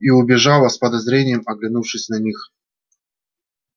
и убежала с подозрением оглянувшись на них